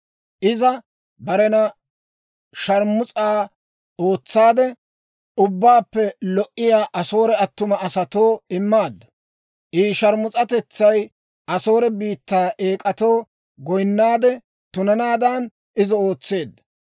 Iza barena sharmus'a ootsaade, ubbaappe lo"iyaa Asoore attuma asatoo immaaddu. I sharmus'atetsay Asoore biittaa eek'atoo goyinnaade, tunanaadan izo ootseedda.